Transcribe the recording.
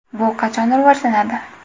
Bu qachon rivojlanadi?